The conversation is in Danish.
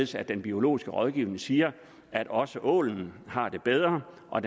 så den biologiske rådgivning siger at også ålen har det bedre og